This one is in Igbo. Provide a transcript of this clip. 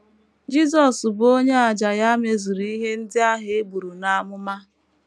Jisọs bụ onye àjà ya mezuru ihe ndị ahụ e buru n’amụma.